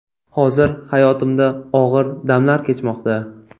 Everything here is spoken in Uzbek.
Hozir hayotimda og‘ir damlar kechmoqda.